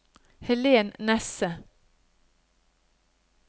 Helen Nesse